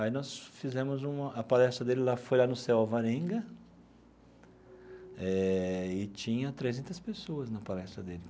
Aí nós fizemos uma... a palestra dele lá foi lá no CEU Alvarenga, eh e tinha trezentas pessoas na palestra dele.